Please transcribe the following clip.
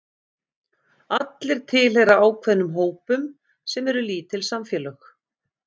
Allir tilheyra ákveðnum hópum sem eru lítil samfélög.